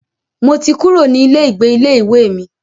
Mo ti kúrò ní ilé ìgbé ilé ìwé mi.